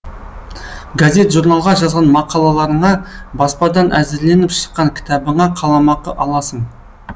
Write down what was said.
газет журналға жазған мақалаларыңа баспадан әзірленіп шыққан кітабыңа қаламақы аласың